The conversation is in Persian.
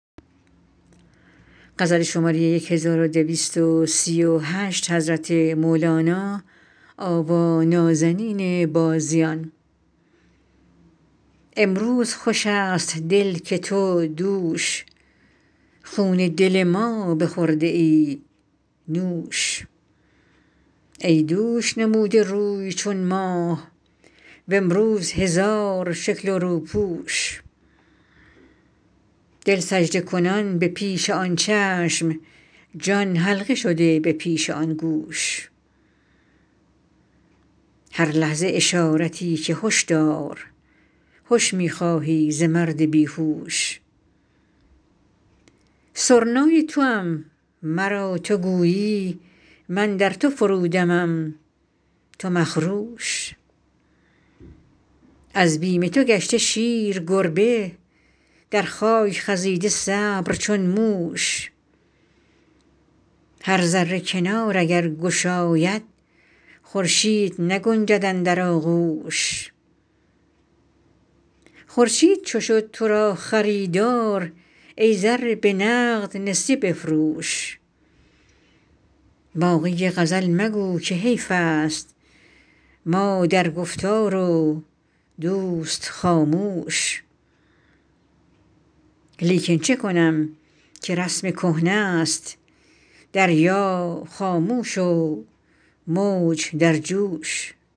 امروز خوش است دل که تو دوش خون دل ما بخورده ای نوش ای دوش نموده روی چون ماه و امروز هزار شکل و روپوش دل سجده کنان به پیش آن چشم جان حلقه شده به پیش آن گوش هر لحظه اشارتی که هش دار هش می خواهی ز مرد بی هوش سرنای توام مرا تو گویی من در تو فرودمم تو مخروش از بیم تو گشته شیر گربه در خاک خزیده صبر چون موش هر ذره کنار اگر گشاید خورشید نگنجد اندر آغوش خورشید چو شد تو را خریدار ای ذره به نقد نسیه بفروش باقی غزل مگو که حیفست ما در گفتار و دوست خاموش لیکن چه کنم که رسم کهنه ست دریا خاموش و موج در جوش